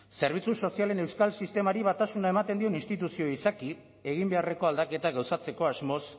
zerbitzu sozialen euskal sistemari batasuna ematen dion instituzio izaki egin beharreko aldaketa gauzatzeko asmoz